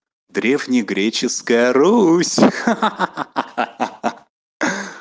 древнегреческая русь ха-ха